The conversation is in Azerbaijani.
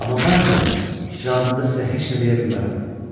Amma mən, cənab, cavabımda da sizə heç nə deyə bilməyəcəyəm.